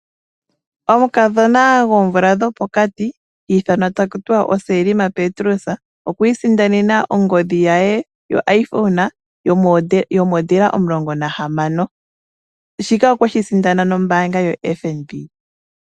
Omukadhona gwoomvula dhopokati, hi ithanwa takutiwa oSelma Petrus, okwiisindanena ongodhi yaye yo iPhone , yo modela omulongo nahamano. Shika okweshi sindana nombaanga yoFNB.